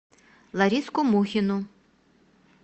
лариску мухину